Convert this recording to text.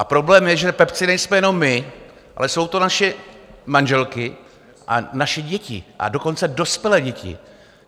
A problém je, že pepci nejsme jenom my, ale jsou to naše manželky a naše děti, a dokonce dospělé děti.